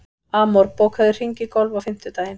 Amor, bókaðu hring í golf á fimmtudaginn.